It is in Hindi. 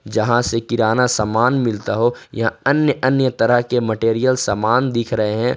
जहां से किराना सामान मिलता हो यहां अन्य अन्य तरह के मटेरियल सामान दिख रहे हैं।